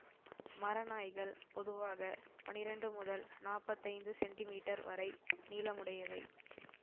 மரநாய்கள் பொதுவாக பனிரெண்டு முதல் நாப்பத்தி ஐந்து சென்டிமீட்டர் வரை நீளமுடையவை